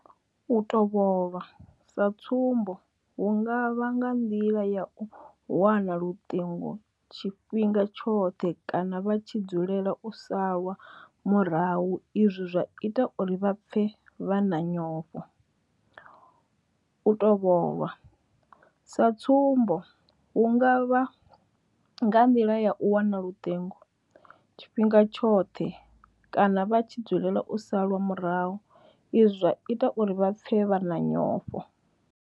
U tovhola sa tsumbo hu nga vha nga nḓila ya u wana luṱingo tshifhinga tshoṱhe kana vha tshi dzulela u salwa murahu izwi zwa ita uri vha pfe vha na nyofho. U tovhola sa tsumbo hu nga vha nga nḓila ya u wana luṱingo tshifhinga tshoṱhe kana vha tshi dzulela u salwa murahu izwi zwa ita uri vha pfe vha na nyofho.